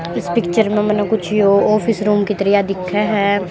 इस पिक्चर मानने यो ऑफिस रूम की तरिया दिखे है।